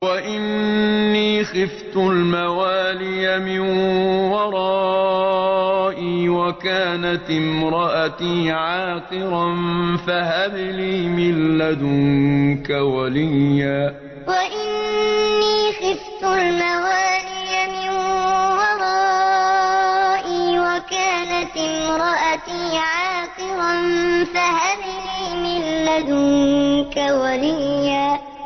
وَإِنِّي خِفْتُ الْمَوَالِيَ مِن وَرَائِي وَكَانَتِ امْرَأَتِي عَاقِرًا فَهَبْ لِي مِن لَّدُنكَ وَلِيًّا وَإِنِّي خِفْتُ الْمَوَالِيَ مِن وَرَائِي وَكَانَتِ امْرَأَتِي عَاقِرًا فَهَبْ لِي مِن لَّدُنكَ وَلِيًّا